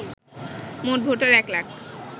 মোট ভোটার এক লাখ